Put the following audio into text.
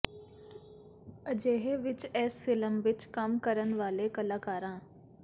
ਅਜਿਹੇ ਵਿੱਚ ਇਸ ਫਿਲਮ ਵਿੱਚ ਕੰਮ ਕਰਨ ਵਾਲੇ ਕਲਾਕਾਰਾਂ